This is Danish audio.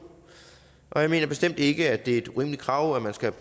jeg mener bestemt ikke at det er et urimeligt krav at man skal